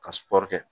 Ka kɛ